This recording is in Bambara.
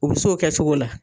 U bi se o kɛcogo la.